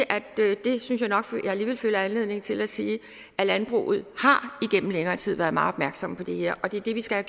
at jeg alligevel føler anledning til at sige at landbruget gennem længere tid har været meget opmærksom på det her og det er det vi skal